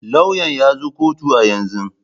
Lauyan ya zo kotu a yanzu.